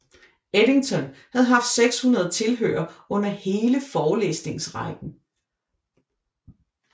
Eddington havde haft 600 tilhørere under hele forelæsningsrækken